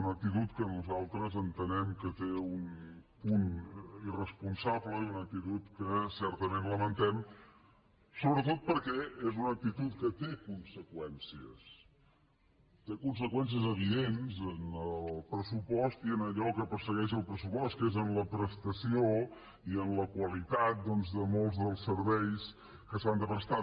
una actitud que nosaltres entenem que té un punt irresponsable i una actitud que certament lamentem sobretot perquè és una actitud que té conseqüències té conseqüències evidents en el pressupost i en allò que persegueix el pressupost que és en la prestació i en la qualitat de molts dels serveis que s’han de prestar